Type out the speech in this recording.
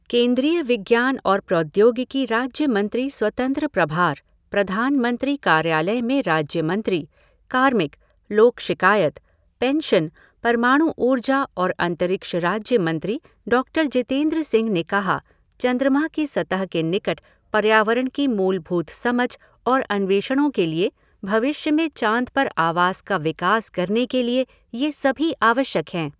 केंद्रीय विज्ञान और प्रौद्योगिकी राज्यमंत्री स्वतंत्र प्रभार, प्रधानमंत्री कार्यालय में राज्यमंत्री, कार्मिक, लोक शिकायत, पेंशन, परमाणु ऊर्जा और अंतरिक्ष राज्य मंत्री डॉक्टर जितेंद्र सिंह ने कहा, चंद्रमा की सतह के निकट पर्यावरण की मूलभूत समझ और अन्वेषणों के लिए भविष्य में चाँद पर आवास का विकास करने के लिए ये सभी आवश्यक हैं।